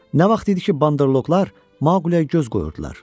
Nə vaxt idi ki, banderloqlar Maqləyə göz qoyurdular.